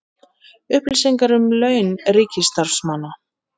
Upplýsingar um laun ríkisstarfsmanna